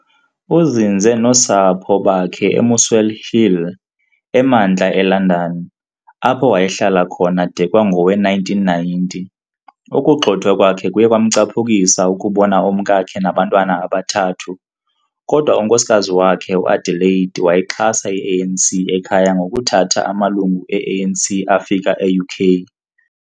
Uzinze nosapho bakhe eMuswell Hill, emantla e-London, apho wayehlala khona de kwangowe-1990. Ukugxothwa kwakhe kuye kwamcaphukisa ukubona umkakhe nabantwana abathathu, kodwa unkosikazi wakhe u-Adelaide wayixhasa i-ANC ekhaya ngokuthatha amalungu e-ANC afika e-UK.